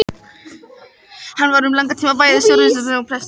Hann var um langan tíma bæði sparisjóðsstjóri og prestur.